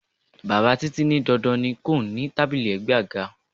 Bàbá Títí ní dandan kó ní tábìlì ègbé àga.